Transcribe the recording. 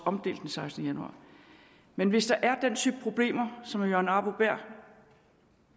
omdelt den sekstende januar men hvis der er den type problemer som herre jørgen arbo bæhr